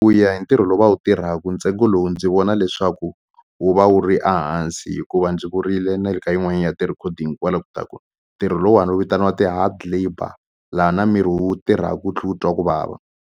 Ku ya hi ntirho lowu va wu tirhaku ntsengo lowu ndzi vona leswaku wu va wu ri a hansi hikuva ndzi vurile na le ka yin'wani ya ti-recording kwala ku ta ku ntirho lowuwani wu vitaniwa ti-hard labour la na miri wu tirhaku wu tlhe wu twa ku vava.